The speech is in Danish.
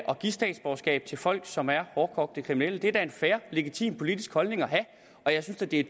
statsborgerskab til folk som er hårdkogte kriminelle det er da en fair legitim politisk holdning at have og jeg synes da det er